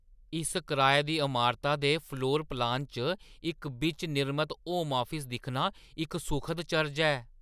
इस कराए दी अमारता दे फ्लोर-प्लान च इक बिच्च-निर्मत होम आफिस दिक्खना इक सुखद चरज ऐ।